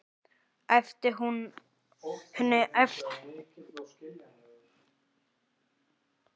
æpti Hugrún á pabba sinn.